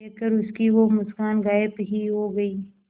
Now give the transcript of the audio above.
देखकर उसकी वो मुस्कान गायब ही हो गयी